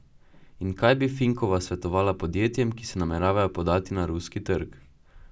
In kaj bi Finkova svetovala podjetjem, ki se nameravajo podati na ruski trg?